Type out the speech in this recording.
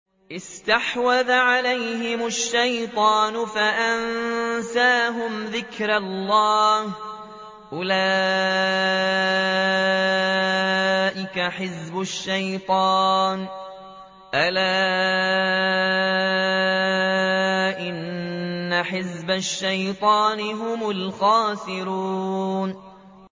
اسْتَحْوَذَ عَلَيْهِمُ الشَّيْطَانُ فَأَنسَاهُمْ ذِكْرَ اللَّهِ ۚ أُولَٰئِكَ حِزْبُ الشَّيْطَانِ ۚ أَلَا إِنَّ حِزْبَ الشَّيْطَانِ هُمُ الْخَاسِرُونَ